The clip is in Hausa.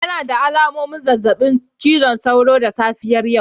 Yana da alamun zazzabin cizon sauro da safiyar yau.